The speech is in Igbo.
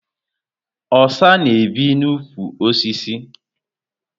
Osa na ebi na ụkwụ osisi